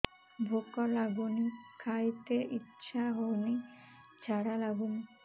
ଭୁକ ଲାଗୁନି ଖାଇତେ ଇଛା ହଉନି ଝାଡ଼ା ଲାଗୁନି